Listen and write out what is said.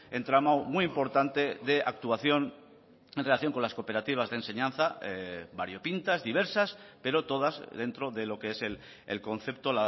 entramado muy importante de actuación en relación con las cooperativas de enseñanza variopintas diversas pero todas dentro de lo que es el concepto